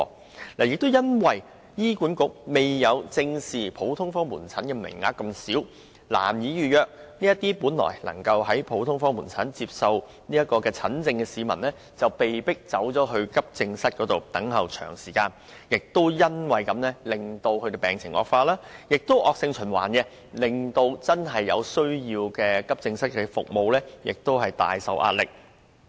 此外，由於醫管局未有正視市民因普通科門診名額不足而難以預約診症服務的問題，這些原本能在普通科門診診所接受診治的市民被迫轉往急症室，花頗長時間等候診症服務，卻因而影響真正需要急症室服務的人，造成惡性循環。